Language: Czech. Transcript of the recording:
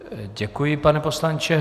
Děkuji, pane poslanče.